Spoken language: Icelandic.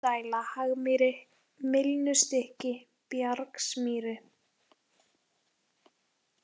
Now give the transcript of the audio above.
Einbúadæla, Hagmýri, Mylnustykki, Bjargsmýri